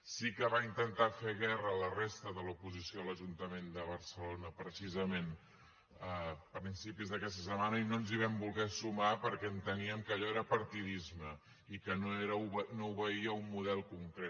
sí que en va intentar fer guerra la resta de l’oposició a l’ajuntament de barcelona precisament a principis d’aquesta setmana i no ens hi van voler sumar perquè enteníem que allò era partidisme i que no obeïa a un model concret